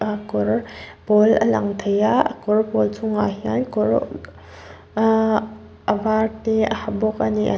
ah kawr pawl a lang thei a a kawr pawl chung ah hian kawr ah a var te a ha bawk ani.